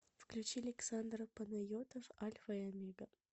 включи александр панайотов альфа и омега